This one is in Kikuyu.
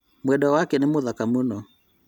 Mwendwa wake nĩ mũthaka mũno